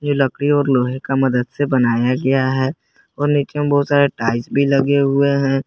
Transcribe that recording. ये लकड़ी और लोहे का मदद से बनाया गया है और नीचे बहुत सारे टाइल्स भी लगे हुए हैं।